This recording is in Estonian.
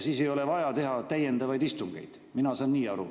Siis ei ole vaja teha täiendavaid istungeid, mina saan nii aru.